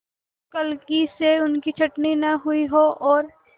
क्लर्की से उनकी छँटनी न हुई हो और